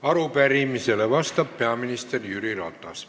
Arupärimisele vastab peaminister Jüri Ratas.